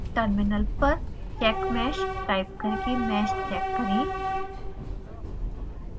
terminal पर checkmesh type करके mesh check करें